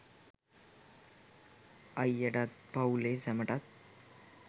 අයියටත් පවුලේ සැමටත්